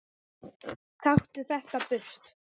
Taktu þetta burt!